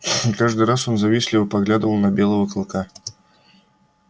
каждый раз он завистливо поглядывал на белого клыка